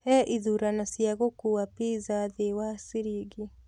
he ĩthũrano cĩa gũkũwa pizza thĩĩ wa shillingi